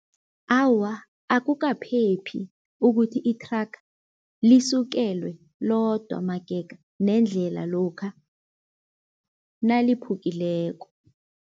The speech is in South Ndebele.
Awa, akukaphephi ukuthi ithraga lisukelwe lodwa magega nendlela lokha naliphukileko.